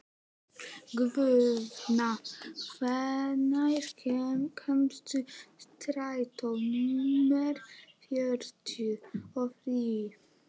Guðna, hvenær kemur strætó númer fjörutíu og þrjú?